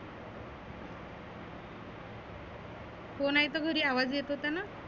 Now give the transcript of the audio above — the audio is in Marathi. हो नाहि तर घरी आवाज येत होताना.